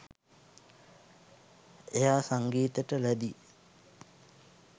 එයා සංගීතෙට ලැදි